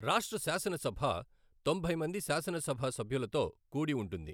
రాష్ట్ర శాసనసభ తొంభై మంది శాసనసభ సభ్యులతో కూడి ఉంటుంది.